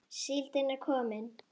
Síldin er komin!